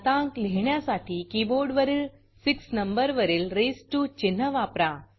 घातांक लिहिण्यासाठी कीबोर्डवरील 6 नंबरवरील रेझ्ड टीओ चिन्ह वापरा